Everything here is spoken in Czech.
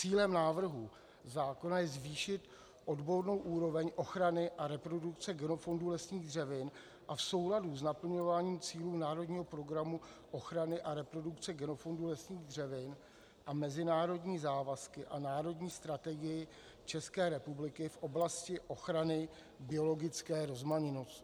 Cílem návrhu zákona je zvýšit odbornou úroveň ochrany a reprodukce genofondu lesních dřevin a v souladu s naplňováním cílů Národního programu ochrany a reprodukce genofondu lesních dřevin a mezinárodní závazky a národní strategii České republiky v oblasti ochrany biologické rozmanitosti (?).